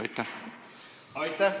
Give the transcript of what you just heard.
Aitäh!